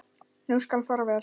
Nú skal fara vel.